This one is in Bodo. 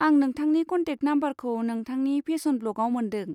आं नोंथांनि कन्टेक नाम्बारखौ नोंथांनि फेशन ब्लगाव मोन्दों।